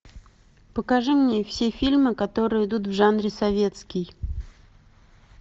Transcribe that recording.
покажи мне все фильмы которые идут в жанре советский